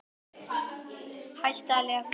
Hætta á leka?